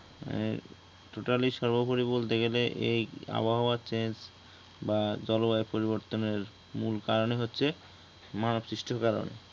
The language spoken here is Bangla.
মানে Totally সর্বোপরি বলতে গেলে এই আবহাওয়ার change বা জলবায়ু পরিবর্তনের মূল কারণই হচ্ছে মানবসৃষ্ট কারণ